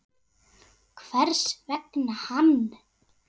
Hvers vegna hann?